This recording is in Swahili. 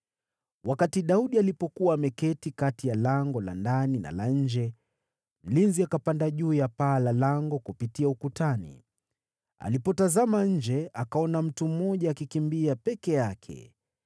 Wakati Daudi alipokuwa ameketi kati ya lango la ndani na la nje, mlinzi akapanda juu ya paa la lango kupitia ukutani. Alipotazama nje, akaona mtu mmoja akikimbia peke yake.